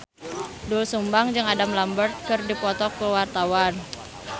Doel Sumbang jeung Adam Lambert keur dipoto ku wartawan